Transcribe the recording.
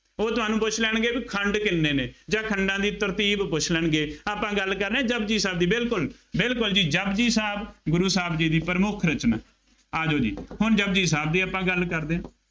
ਉਹ ਤੁਹਾਨੂੰ ਪੁੱਛ ਲੈਣਗੇ ਬਈ ਖੰਡ ਕਿੰਨੇ ਨੇ ਜਾਂ ਖੰਡਾਂ ਦੀ ਤਰਤੀਬ ਪੁੱਛ ਲੈਣਗੇ, ਆਪਾਂ ਗੱਲ ਕਰ ਰਹੇ ਹਾਂ, ਜਪੁਜੀ ਸਾਹਿਬ ਦੀ, ਬਿਲਕੁੱਲ, ਬਿਲਕੁੱਲ ਜੀ, ਜਪੁਜੀ ਸਾਹਿਬ ਗੁਰੂ ਸਾਹਿਬ ਜੀ ਦੀ ਪ੍ਰਮੁੱਖ ਰਚਨਾ ਹੈ। ਆ ਜਾਉ ਜੀ ਹੁਣ ਜਪੁਜੀ ਸਾਹਿਬ ਦੀ ਆਪਾਂ ਗੱਲ ਕਰਦੇ ਹਾਂ।